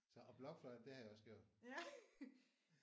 Så og blokfløjte det har jeg også gjort